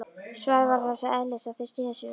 Svarið var þess eðlis að þeir sneru sér undan.